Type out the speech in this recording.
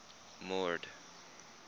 mord